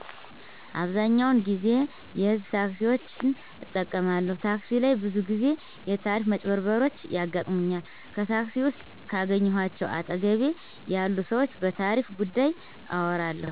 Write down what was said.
አብዛኛውን ጊዜ የህዝብ ታክሲዎችን እጠቀማለሁ ታክሲ ላይ ብዙ ግዜዎች የታሪፍ መጭበርበሮችያጋጥሙኛል ከታክሲ ውስጥ ከአገኘዃቸው አጠገቤ ያሉ ሰዎች በታሪፍ ጉዳይ አወራለሁ